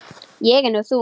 Ég er nú þung.